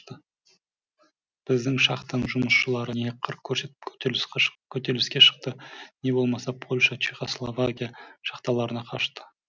біздің шахтаның жұмысшылары не қыр көрсетіп көтеріліске шықты не болмаса польша чехословакия шахталарына қашты